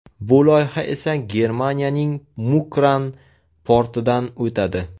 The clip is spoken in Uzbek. Bu loyiha esa Germaniyaning Mukran portidan o‘tadi.